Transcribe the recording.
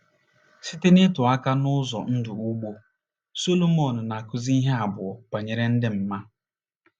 Site n’ịtụ aka n’ụzọ ndụ ugbo, Sọlomon na-akụzi ihe abụọ banyere ịdị mma.